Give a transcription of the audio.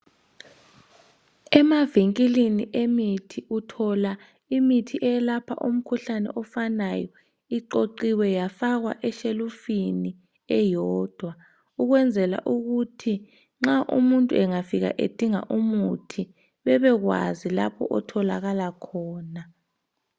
Emavinkilini emithi uthola imithi eyelapha umkhuhlane ofanayo iqoqiwe yafakwa eshelufini eyodwa ukwenzela ukuthi nxa umuntu engafika edinga umuthi bebekwazi lapho otholakala khona.